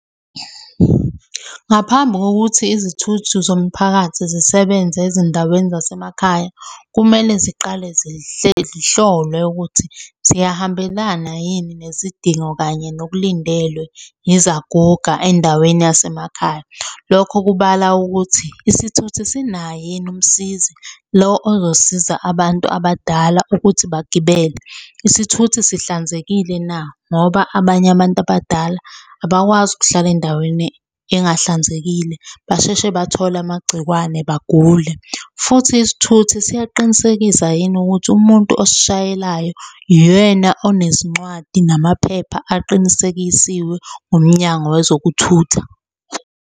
Ngaphambi kokuthi izithuthi zomphakathi zisebenze ezindaweni zasemakhaya, kumele ziqale zihlolwe ukuthi ziyahambelana yini nezidingo kanye nokulindelwe yizaguga endaweni yasemakhaya. Lokho kubala ukuthi isithuthi sinaye yini umsizi lo ozosiza abantu abadala ukuthi bagibele. Isithuthi sihlanzekile na ngoba abanye abantu abadala abakwazi ukuhlala endaweni engahlanzekile basheshe bathole amagcikwane bagule, futhi isithuthi siyaqinisekisa yini ukuthi umuntu osishayelayo uyena onezincwadi namaphepha aqinisekisiwe umnyango wezokuthutha.